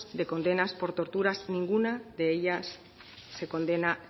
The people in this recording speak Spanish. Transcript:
de condenas por torturas